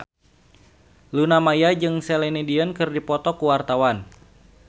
Luna Maya jeung Celine Dion keur dipoto ku wartawan